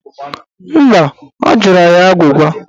Mba, ọ jụrụ anyị agwụgwa